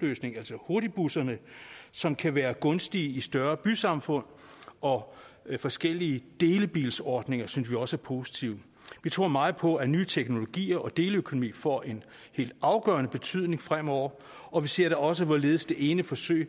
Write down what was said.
løsning altså hurtigbusserne som kan være gunstige i større bysamfund og forskellige delebilsordninger synes vi også er positive vi tror meget på at nye teknologier og deleøkonomi får en helt afgørende betydning fremover og vi ser da også hvorledes det ene forsøg